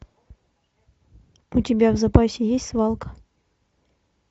у тебя в запасе есть свалка